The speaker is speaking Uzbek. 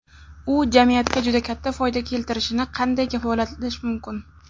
U jamiyatga juda katta foyda keltirishini qanday kafolatlash mumkin?